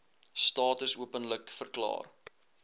status openlik verklaar